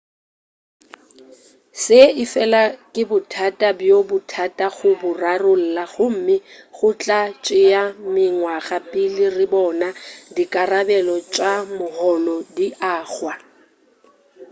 se efela ke bothata bjo bothata go bo rarolla gomme go tla tšea mengwaga pele re bona dikarabelo tša moholo di agwa